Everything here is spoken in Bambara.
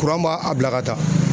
ma a bila ka taa.